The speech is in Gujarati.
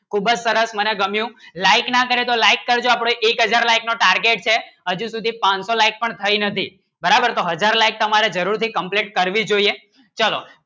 ખુબજ સરસ મને ગમ્યું Like ના કરે તો Like કરજો આપણે એક હજાર Like નું Target છે હજી સુધી પાનસો Like પણ થઇ નથી બરાબર તો હજાર Like તમારે જરૂરત થી Complete કરવી જોઈએ ચલો